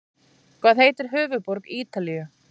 Hvað heitir höfuðborg Ítalíu?